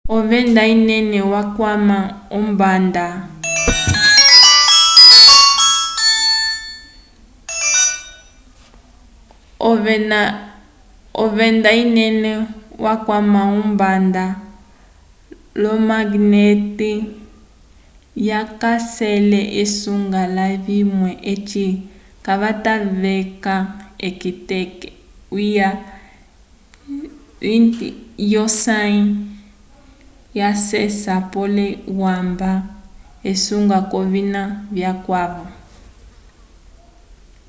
ovenda inene ikwama ombanda hk management in kayacele esunga layimwe eci vatateka k'eteke lya 20 lyosãyi lyeceya pole wamba esunga k'ovina vikwavo